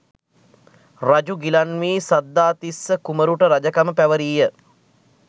රජු ගිලන් වී, සද්ධාතිස්ස කුමරුට රජකම පැවරීය.